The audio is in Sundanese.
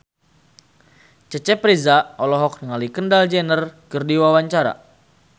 Cecep Reza olohok ningali Kendall Jenner keur diwawancara